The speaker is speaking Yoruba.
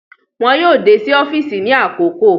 Wọn yoo de si ọfiisi ni akoko